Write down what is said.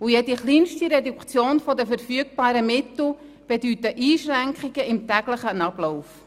und jede kleinste Reduktion der verfügbaren Mittel bedeutet Einschränkungen im täglichen Ablauf.